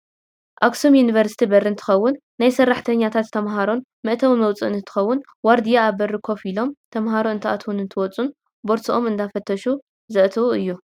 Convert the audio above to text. ኣክሱም ዩኒቨርስቲ በሪ እንትከውን ናይ ሰራሕተኛታትን ተማሃሮን መእተውን መውፅእን እንትከውን ዋርድያ ኣብ በሪ ኮፍ ኢሎም ተማሃሮ እንትኣትውን እንትወፁን ቦርሶኦም እንዳፈተሹ ዝእትውሉ እዩ።